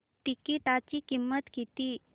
तिकीटाची किंमत किती